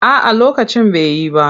A'a lokacin bai yi ba.